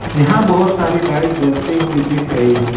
यहां बहुत सारी लाइट जलती हुई दिख रही है।